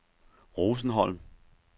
Rosenholm